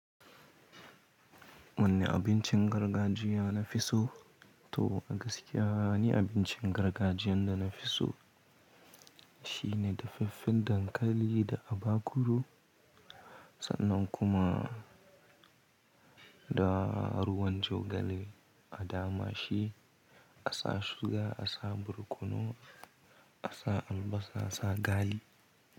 Wanne abincin gargajiya na fi so? To a gaskiya, ni abincin gargajiyan da na fi so shine dafaffen dankali da abakuru sannan kuma da ruwan jogale a dama shi. Asa suga, a sa barkono, asa albasa, asa gali.